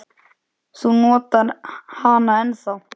Þú notar hana ennþá.